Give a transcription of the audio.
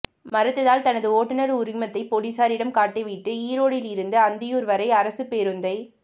மறுத்ததால் தனது ஓட்டுநர் உரிமத்தை போலீஸாரிடம் காட்டிவிட்டு ஈரோடிலிருந்து அந்தியூர் வரை அரசுப் பேருந்தை